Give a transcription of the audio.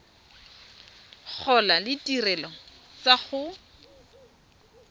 gola le ditirelo tsa go